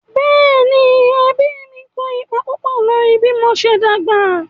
Bẹ́ẹ̀ni, ẹbí mí kó ipa púpọ̀ lórí bí mo ṣe dàgbà